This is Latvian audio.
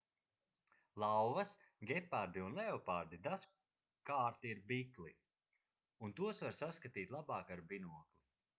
lauvas gepardi un leopardi dažkārt ir bikli un tos var saskatīt labāk ar binokli